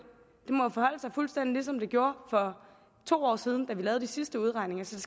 må forholde sig fuldstændig ligesom det gjorde for to år siden da vi lavede de sidste udregninger så